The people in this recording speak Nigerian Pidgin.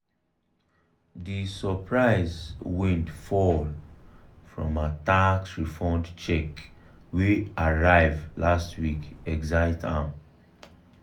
d surprise windfall from her tax refund check wey arrive arrive last week excite am.